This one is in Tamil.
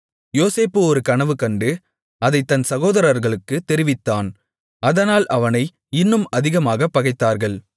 யோசேப்பு ஒரு கனவு கண்டு அதைத் தன் சகோதரர்களுக்குத் தெரிவித்தான் அதனால் அவனை இன்னும் அதிகமாகப் பகைத்தார்கள்